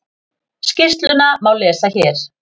Skýrsluna má lesa hér